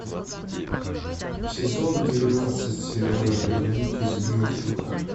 сезон двенадцать сериала вернуть из мертвых